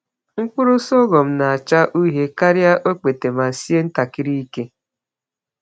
Mkpụrụ sọgọm na-acha uhie karịa okpete ma sie ntakịrị ike.